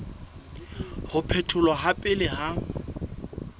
ho phetholwa ha pele ha